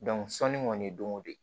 sɔnni kɔni don o don